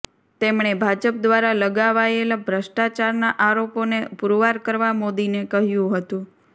તેમણે ભાજપ દ્વારા લગાવાયેલા ભ્રષ્ટાચારના આરોપોને પુરવાર કરવા મોદીને કહ્યું હતું